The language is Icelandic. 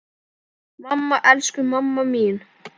Mamma, elsku mamma mín.